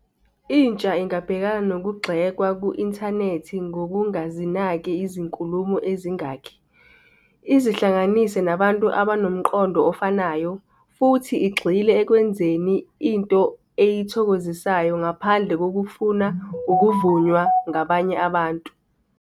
Intsha ingabhekana kunokugxekwa ku-inthanethi ngokungazinaki izinkulumo ezingakhi, izihlanganise nabantu abanomqondo ofanayo, futhi igxile ekwenzeni into eyithokozisayo ngaphandle kokufuna uvunywa ngabanye abantu.